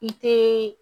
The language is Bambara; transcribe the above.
I te